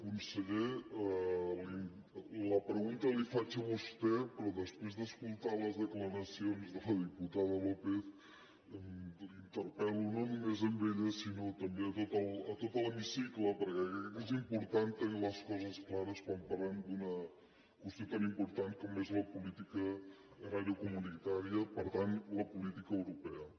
conseller la pregunta la hi faig a vostè però després d’escoltar les declaracions de la diputada lópez l’interpel·lo no només a ella sinó a tot l’hemicicle perquè crec que és important tenir les coses clares quan parlem d’una qüestió tan important com és la política agrària comunitària per tant la política europea